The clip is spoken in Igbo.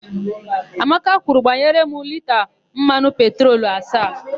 Amaka kwuru, "gbanyere m lita mmanụ petrolu asaa"!